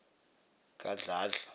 kadladla